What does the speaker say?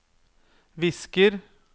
visker